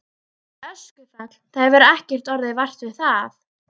En öskufall, það hefur ekkert orðið vart við það?